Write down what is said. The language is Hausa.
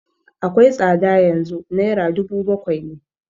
Akwai tsada yanzu, naira dubu bakwai ne